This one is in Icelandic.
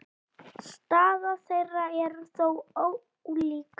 Staða þeirra er þó ólík.